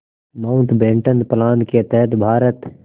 Mountbatten plan के तहत भारत